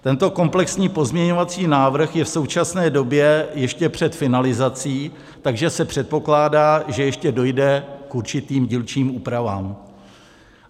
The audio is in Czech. Tento komplexní pozměňovací návrh je v současné době ještě před finalizací, takže se předpokládá, že ještě dojde k určitým dílčím úpravám.